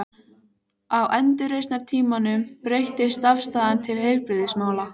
Á endurreisnartímanum breyttist afstaðan til heilbrigðismála.